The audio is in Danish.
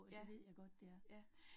Ja. Ja